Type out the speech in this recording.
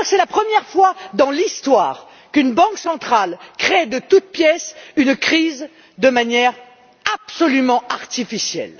Je crois que c'est la première fois dans l'histoire qu'une banque centrale crée une crise de toutes pièces, de manière absolument artificielle.